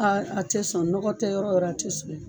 Aa a tɛ sɔn nɔgɔ tɛ yɔrɔ o yɔrɔ a tɛ sɔn